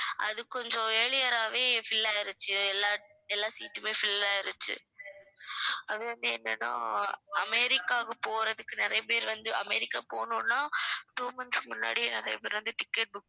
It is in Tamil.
அது கொஞ்சம் earlier ஆவே fill ஆயிடுச்சு எல்லா~ எல்லா seat உமே fill ஆயிடுச்சு அது வந்து என்னன்னா அமெரிக்காவுக்கு போறதுக்கு நிறைய பேர் வந்து அமெரிக்கா போணும்னா two months க்கு முன்னாடியே நிறைய பேர் வந்து ticket book